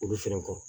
Olu fɛnɛ kɔ